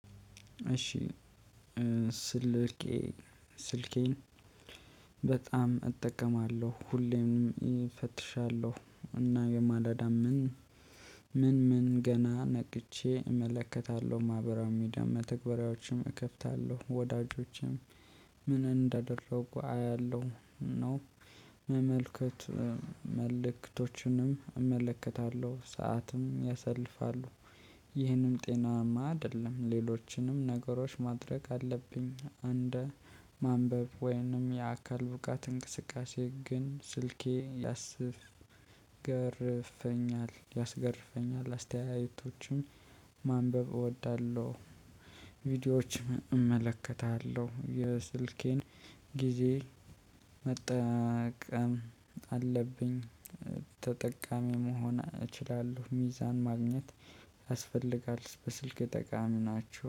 እሺ ስልኬ ስልኬን በጣም እጠቀማለሁ ሁሌም እፈትሻለሁ እና የማላዳም ምን ምን ምን ገና ነቅቼ እመለከታለሁ ማህበራዊ ሚዲያ መተግበሪያዎችም እከፍታለሁ ወዳጆችም ምን እንዳደረጉ አያለሁ። ኖፕ መመልከት መልእክቶችንም እመለከታለሁ ሰዓትም ያሰልፋሉ። ይህንም ጤናማ አይደለም ሌሎችንም ነገሮች ማድረግ አለብኝ። እንደ ማንበብ ወይንም የአካል ብቃት እንቅስቃሴ ግን ስልኬ ያስገርፈኛል ያስገርፈኛል አስተያየቶችም ማንበብ እወዳለሁ። ቪዲዮዎችም እመለከታለሁ የስልኬን ጊዜ መጠቀም አለብኝ ተጠቃሚ መሆን እችላለሁ። ሚዛን ማግኘት ያስፈልጋል በስልክ ጠቃሚ ናቸው